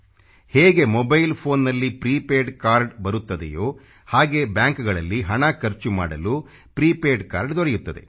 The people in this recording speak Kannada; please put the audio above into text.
ಹೇಗೆ ಮೊಬೈಲ್ PHONEನಲ್ಲಿ ಪ್ರಿಪೇಡ್ ಕಾರ್ಡ್ ಬರುತ್ತದೆಯೋ ಹಾಗೇ ಬ್ಯಾಂಕಗಳಲ್ಲಿ ಹಣ ಖರ್ಚು ಮಾಡಲು ಪ್ರಿಪೇಡ್ ಕಾರ್ಡ್ ದೊರೆಯುತ್ತದೆ